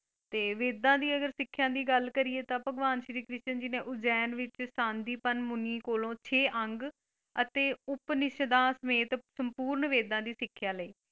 ਤੇ ਵੇਦਾਂ ਦੀ ਅਗਰ ਸਿੱਖਿਆ ਦੀ ਗੱਲ ਕਰੀਏ ਤਾਂ ਭਗਵਾਨ ਸ਼੍ਰੀ ਕ੍ਰਿਸ਼ਨ ਜੀ ਨੇ ਉਜੈਨ ਵਿੱਚ ਤਾਂਦੀਪਨ ਮੁਨੀ ਕੋਲੋਂ ਛੇ ਅੰਗ ਅਤੇ ਉਪਨਿਸ਼ਦਾਂ ਸਮੇਤ ਸੰਪੂਰਨ ਵੇਦਾਂ ਦੀ ਸਿੱਖਿਆ ਲਈ।